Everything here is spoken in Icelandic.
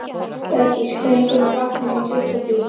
Bergdís, hvenær kemur vagn númer tuttugu og þrjú?